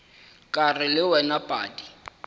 ke ra le wena padi